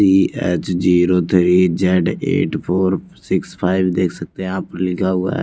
TH zero three Z eight four six five देख सकते हैं आप लिखा हुआ--